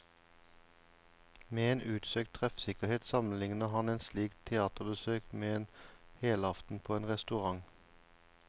Med en utsøkt treffsikkerhet sammenligner han et slikt teaterbesøk med en helaften på en restaurant.